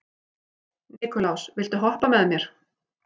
Nikulás, viltu hoppa með mér?